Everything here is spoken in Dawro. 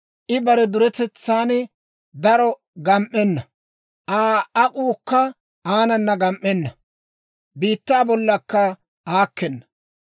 I bare duretetsan daro gam"enna; Aa ak'uukka aanana gam"enna; biittaa bollankka aakena.